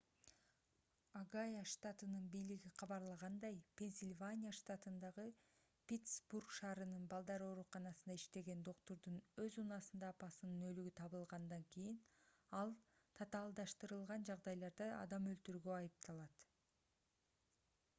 огайо штатынын бийлиги кабарлагандай пенсильвания штатындагы питсбург шаарынын балдар ооруканасында иштеген доктурдун өз унаасында апасынын өлүгү табылгандан кийин ал татаалдаштырылган жагдайларда адам өлтүрүүгө айыпталат